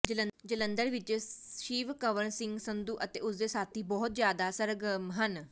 ਜਲੰਧਰ ਵਿੱਚ ਸ਼ਿਵਕੰਵਰ ਸਿੰਘ ਸੰਧੂ ਅਤੇ ਉਸਦੇ ਸਾਥੀ ਬਹੁਤ ਜ਼ਿਆਦਾ ਸਰਗਰਮ ਸਨ